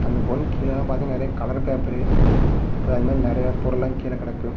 இந்த பொன்க் கீழலா பாத்தினா நெறைய கலர் பேப்பரு ப அது மாரி நெறைய பொருள்லா கீழ கடக்கு.